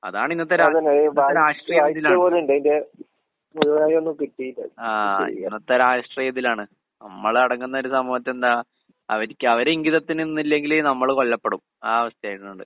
അതാണ് ഇന്നത്തെ രാ ഇന്നത്തെ രാഷ്ട്രീയം ഇതിലാണ്. ആഹ് ഇന്നത്തെ രാഷ്ട്രീയം ഇതിലാണ്. നമ്മളെ അടങ്ങുന്നൊരു സമൂഹത്തി എന്താ അവര്ക്ക് അവരെ ഇങ്കിതത്തിന് നിന്നില്ലെങ്കില് നമ്മള് കൊല്ലപ്പെടും. ആ അവസ്ഥയായിട്ടുണ്ട്0:04:04.392580 0:04:10.817491 അതാണ് രാഷ്ട്രീയത്തിന്റെ, എന്താടാ അവടെ രാഷ്ട്രീയ പാർട്ടീലൊക്കെ പ്രവർത്തിക്കാനാണ് നിന്റെ നീക്കോക്കെ ഞാൻ മുമ്പേ അറിഞ്ഞു. എന്താണ് അതൊക്കെ മാറ്റിവെച്ചോ?